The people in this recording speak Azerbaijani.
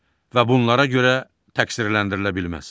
və bunlara görə təqsirləndirilə bilməz.